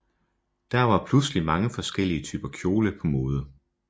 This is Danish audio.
Der var pludselig mange forskellige typer kjoler på mode